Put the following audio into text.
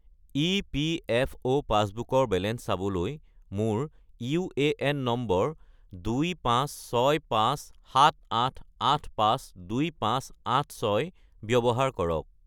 EPFO পাছবুকৰ balance চাবলৈ মোৰ ইউএএন নম্বৰ 256578852586 ব্যৱহাৰ কৰক